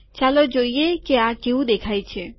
ચાલો જોઈએ આ કેવું દેખાય છે